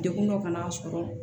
Degun dɔ ka n'a sɔrɔ